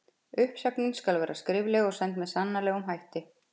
Uppsögn skal vera skrifleg og send með sannanlegum hætti.